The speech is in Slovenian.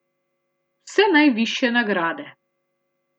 Vse najvišje nagrade.